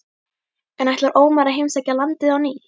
En ætlar Ómar að heimsækja landið á ný?